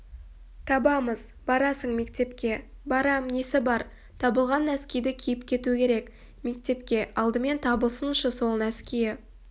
табамыз барасың мектепке барам несі бар табылған нәскиді киіп кету керек мектепке алдымен табылсыншы сол нәскиі